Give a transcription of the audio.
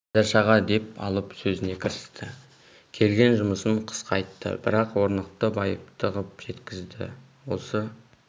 байдаш аға деп алып сөзіне кірісті келген жұмысын қысқа айтты бірақ орнықты байыпты қып жеткізді осы